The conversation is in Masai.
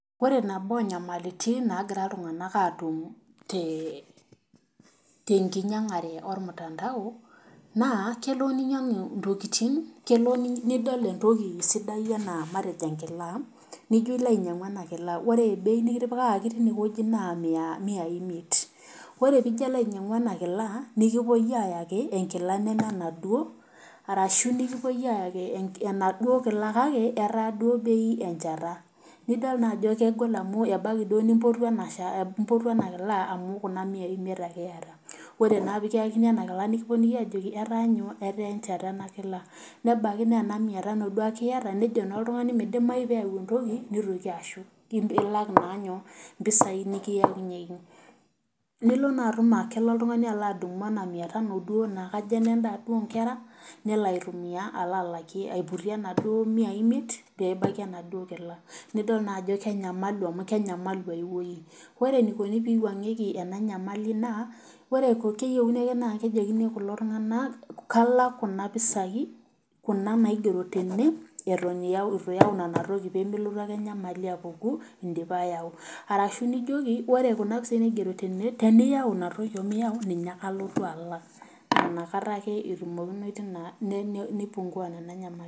Ore nabo onyamalitin naagira iltunganak atum tenkinyangare ormutandao ,naa kelo ninyangu entoki sidai enaa enkila ,nijo inyangu ena Kila ore bei nikitipikaki na miyai imeit ,ore pee ilo ainyangu ena kila ore kipuo ayaki enkila neme enaduo orashu kipuo ayaki enaduo kila kake etaa bei enchata .nidol naa ajo kegol amu ebaiki duo nimpotuo enakila amu Kuna miyai imeit ake iyata, ore naa pee kiyakini ena kila nikiponunui ajoki etaa enchata enakila ,nebaiki naa ena miya tano dukae iyata nejo naa oltungani meidimayu neyau entoki neitoki ashuk neibidi naa pee ilak mpisai nikiyakinyieki .nilo naa tum aa kelo oltungani adumu ena miya tano duo naa kajo enendaa duo onkera nelo aitumiyia alo aiputie naduo miyai imiet pee elaki enaduo kila. nidol naa ajo kenyamalu amu kenyamalu aiweji ,ore eneikoni pee eiwangieki ena nyamali naa keyieu ake naa kejokini kulo tunganak kalak Kuna pisai Kuna naigero tene eton eitu iyau pee nelotu ake enyamali apuku indipa ayau .orashu nijoki ore Kuna pisai naigero tene teniyau otenimiyau ninche ake alotu alak .nnaa inakata ake eipungua nena nyamali.